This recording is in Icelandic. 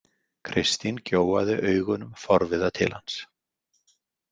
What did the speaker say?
Kristín gjóaði augunum forviða til hans.